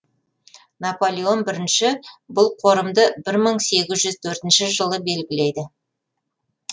наполеон бірінші бұл қорымды бір мың сегіз жүз төртінші жылы белгілейді